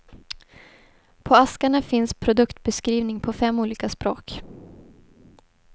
På askarna finns produktbeskrivning på fem olika språk.